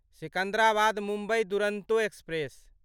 Secunderabad Mumbai Duronto express